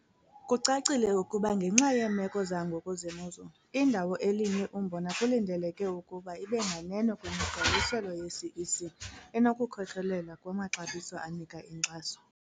Kucacile ukuba ngenxa yeemeko zangoku zemozulu, indawo elinywe umbona kulindeleke ukuba ibe nganeno kwimigqaliselo yeCEC, enokukhokelela kumaxabiso anika inkxaso.